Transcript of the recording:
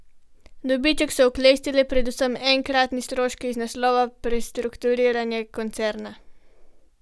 Dobiček so oklestili predvsem enkratni stroški iz naslova prestrukturiranja koncerna.